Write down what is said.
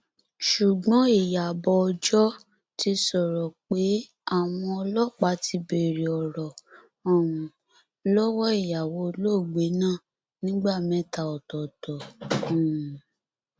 ṣùgbọn ìyàbọ ọjọ ti sọrọ pé àwọn ọlọpàá ti béèrè ọrọ um lọwọ ìyàwó olóògbé náà nígbà mẹta ọtọọtọ um